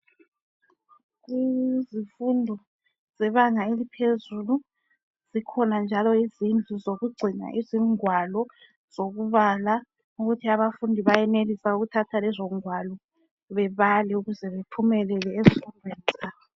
Izifundo zebanga eliphezulu zikhona indawo zokugcina izingwalo zokubala ukuthi abafundi bayelisa ukuthatha lezongwalo babale ukuze bephumelele ezifundweni zabo.